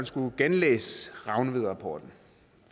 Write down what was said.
skulle lave sin rapport